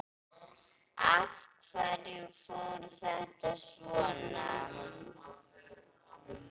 Af hverju fór þetta svona?